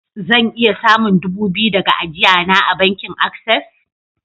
Zan iya samun dubu biyu daga ajia na a'bankin access?